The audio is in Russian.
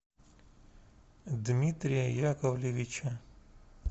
дмитрия яковлевича